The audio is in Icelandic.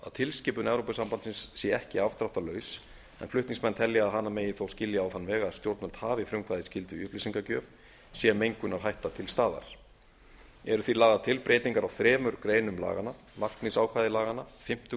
tilskipun evrópusambandsins sé ekki afdráttarlaus en flutningsmenn telja að hana megi þó skilja á þann veg að stjórnvöld hafi frumkvæðisskyldu í upplýsingagjöf sé mengunarhætta til staðar eru því lagðar til breytingar á þremur greinum laganna markmiðsákvæði laganna fimmtu